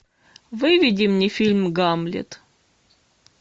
выведи мне фильм гамлет